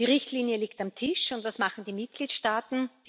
Die Richtlinie liegt auf dem Tisch, und was machen die Mitgliedstaaten?